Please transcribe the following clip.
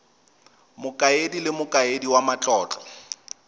mokaedi le mokaedi wa matlotlo